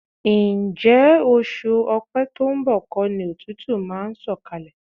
Ǹjẹ́ oṣù Ọ̀pẹ to ń bọ̀ kọ́ ni òtútù máa ń sọ̀kalẹ̀?